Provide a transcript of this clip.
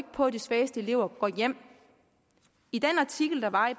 på at de svageste elever går hjem i den artikel der var i